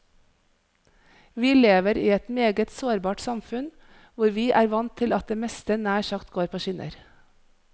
Vi lever i et meget sårbart samfunn, hvor vi er vant til at det meste nær sagt går på skinner.